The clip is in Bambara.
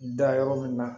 Da yɔrɔ min na